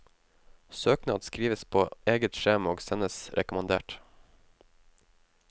Søknad skrives på eget skjema og sendes rekommandert.